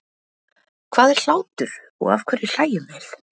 Hvað er hlátur og af hverju hlæjum við?